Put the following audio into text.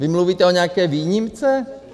Vy mluvíte o nějaké výjimce?